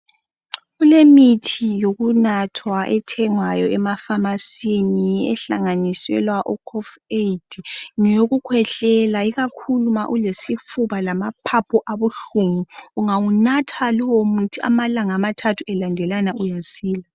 Kulemithi yokunathwa ethengwayo emafamasini ehlanganiselwa o KOF AID ngeyokukhwehlela ikakhulu ma ulesifuba lamaphaphu abuhlungu ,angawunatha lowo muthi amalanga amathathu elandelana uyasila